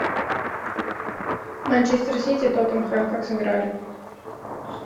манчестер сити тоттенхэм как сыграли